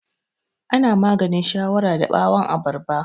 Ana maganin shawara da ɓawan abarba